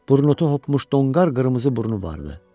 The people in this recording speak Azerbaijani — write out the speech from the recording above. Burnutu hopmuş donqar qırmızı burnu vardı.